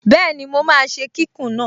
Bẹ́ẹ̀ni, mo máa ṣe kíkùn náà